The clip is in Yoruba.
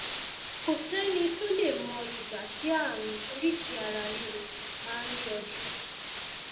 kò sẹni tó lè mọ ìgbà tí ààrùn oríkèéararíro máa ń yọjú